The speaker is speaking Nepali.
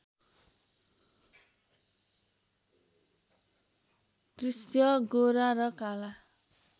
दृश्य गोरा र काला